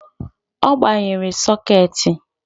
Ọ gbanyere sokeeti